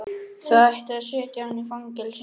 Það ætti að setja hann í fangelsi!